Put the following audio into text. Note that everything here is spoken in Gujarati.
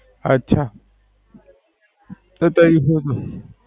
અચ્છા. હુ ત્યારે હુ પણ